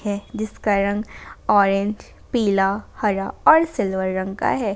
है जिसका रंग ऑरेंज पीला हरा और सिल्वर रंग का है।